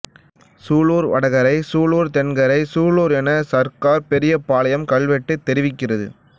சூலூர் வடகரைச் சூலூர் தென்கரைச் சூலூர் என சர்க்கார் பெரியபாளையம் கல்வெட்டு தெரிவிக்கிறது